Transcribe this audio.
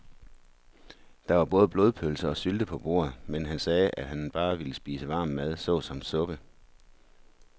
Der var både blodpølse og sylte på bordet, men han sagde, at han bare ville spise varm mad såsom suppe.